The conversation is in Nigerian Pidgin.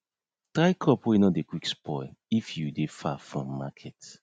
try crop wey nor dey quick spoil if you dey far from market